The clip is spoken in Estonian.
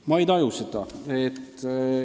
Ma ei taju seda.